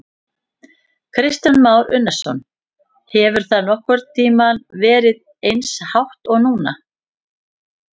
Kristján Már Unnarsson: Hefur það nokkurn tímann verið eins hátt og núna?